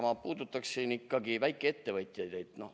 Ma puudutaksin ikkagi väikeettevõtjaid.